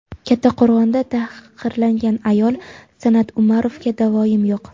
Kattaqo‘rg‘onda tahqirlangan ayol: San’at Umarovga da’voyim yo‘q.